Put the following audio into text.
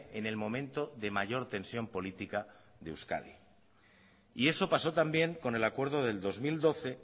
en el momento de mayor tensión política de euskadi y eso pasó también con el acuerdo del dos mil doce